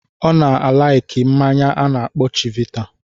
Ọ na-alaiki mmanya a na-akpọ Chivita.